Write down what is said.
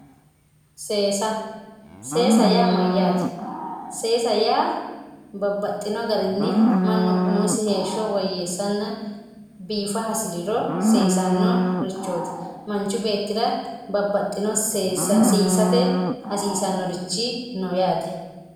Seesa seesa yaa mayate seesa yaa manu babaxino garini umosi woyeesate seesano seesa seesaho yine woshinani manchu beetira seesate hasiisanorichi no yaate